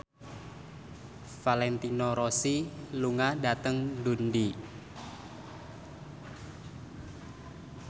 Valentino Rossi lunga dhateng Dundee